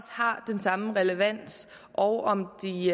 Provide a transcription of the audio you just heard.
har den samme relevans og om de